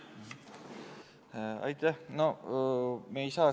Aitäh!